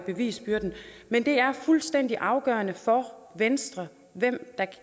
bevisbyrden men det er fuldstændig afgørende for venstre hvem der